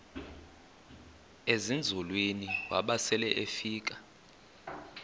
ezinzulwini waba selefika